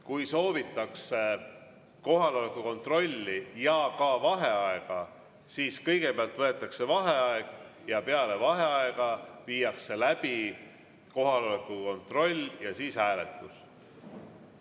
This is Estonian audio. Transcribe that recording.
Kui soovitakse kohaloleku kontrolli ja ka vaheaega, siis kõigepealt võetakse vaheaeg ja peale vaheaega viiakse läbi kohaloleku kontroll ja siis hääletus.